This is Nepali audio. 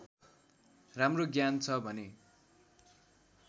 राम्रो ज्ञान छ भने